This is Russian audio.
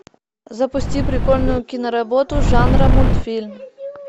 запусти прикольную киноработу жанра мультфильм